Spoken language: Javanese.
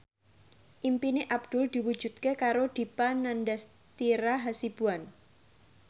impine Abdul diwujudke karo Dipa Nandastyra Hasibuan